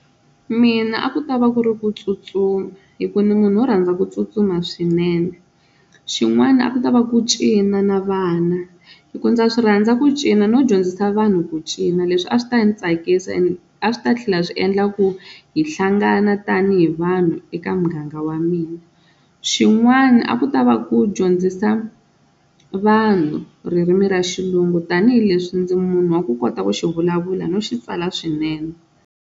Mina a ku ta va ku ri ku tsutsuma hi ku ni munhu wo rhandza ku tsutsuma swinene xin'wana a ku ta va ku cina na vana hi ku ndza swi rhandza ku cina no dyondzisa vanhu ku cina, leswi a swi ta ndzi tsakisa ene a swi ta tlhela swi endla ku hi hlangana tanihi vanhu eka muganga wa mina, xin'wana a ku ta va ku dyondzisa vanhu ririmi ra xilungu tanihileswi ndzi munhu wa ku kota ku xi vulavula no xi tsala swinene.